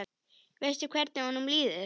Veistu hvernig honum líður?